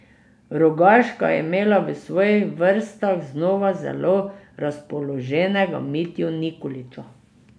Rogaška je imela v svojih vrstah znova zelo razpoloženega Mitjo Nikolića.